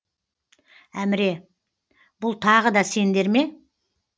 әміре бұл тағы да сендер ме